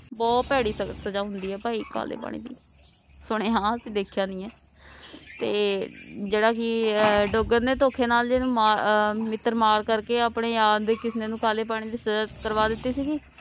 ਬਹੁਤ ਭੈੜੀ ਹੁੰਦੀ ਹੈ ਭਈ ਕਾਲੇ ਪਾਣੀ ਦੀ ਸੁਣਿਆ ਅਸੀਂ ਦੇਖਿਆ ਨਹੀਂ ਹੈ ਤੇ ਜੇਡਾ ਕਿ ਅਹ ਡੋਗਰ ਨੇ ਥੋਖੇ ਅਹ ਮਿੱਤਰ ਮਾਰ ਕਰਕੇ ਆਪਣੇ ਯਾਰ ਕਿਸਨੇ ਨੂੰ ਕਾਲੇ ਪਾਣੀ ਦੀ ਸਜਾ ਕਰਵਾ ਦਿਤੀ ਸੀਗੀ